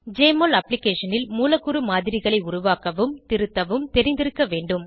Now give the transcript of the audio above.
JMOL அப்ளிகேஷனில் மூலக்கூறு மாதிரிகளை உருவாக்கவும் திருத்தவும் தெரிந்திருக்க வேண்டும்